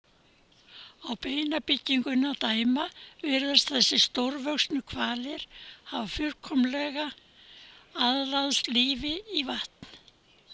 Á beinabyggingunni að dæma virðast þessir stórvöxnu hvalir hafa fullkomlega aðlagast lífi í vatn.